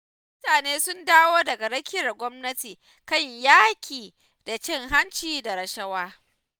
Mutane sun dawo daga rakiyar gwamnati kan yaƙi da cin hanci da rashawa.